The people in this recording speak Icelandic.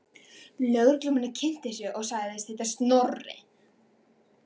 Lögreglumaðurinn kynnti sig og sagðist heita Snorri.